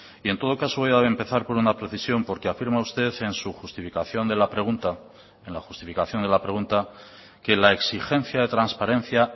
en todo caso voy a empezar por una precisión porque afirma usted en su justificación de la pregunta que la exigencia de la transparencia